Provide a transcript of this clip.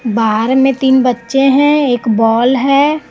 बाहर में तीन बच्चे हैं एक बॉल है।